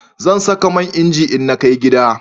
Zan saka man inji in na kai gida